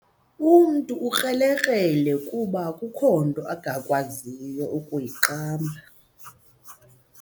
Umntu ukrelekrele kuba akukho nto angakwazi kuyiqamba.